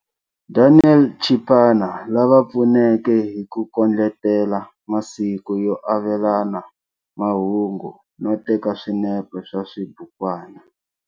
Daniel Chipana, lava pfuneke hi ku kondletela masiku yo avelana mahungu no teka swinepe swa xibukwana.